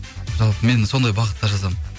жалпы мен сондай бағытта жазамын